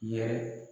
Yɛrɛ